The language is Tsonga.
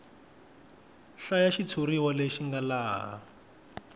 hlaya xitshuriwa lexi nga laha